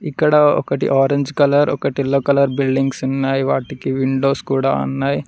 ఇక్కడ ఒకటి orange colour ఒకటి ఎల్లో కలర్ బిల్డింగ్స్ ఉన్నాయి వాటికి విండోస్ కూడా ఉన్నాయి.